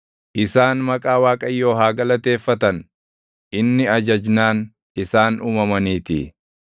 Isaan maqaa Waaqayyoo haa galateeffatan; inni ajajnaan, isaan uumamaniitii.